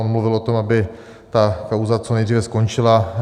On mluvil o tom, aby ta kauza co nejdříve skončila.